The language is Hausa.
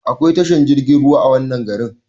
Eh akwai tashar jirgin ruwa a wannan garin